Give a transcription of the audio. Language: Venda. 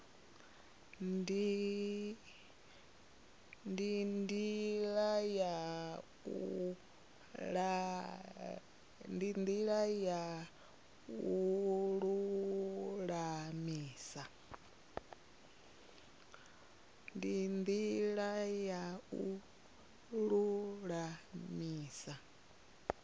ndi ndila ya u lulamisa